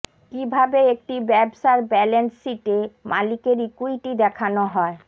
কিভাবে একটি ব্যবসার ব্যালেন্স শিটে মালিকের ইক্যুইটি দেখানো হয়